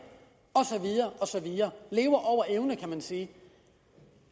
og så videre lever over evne kan man sige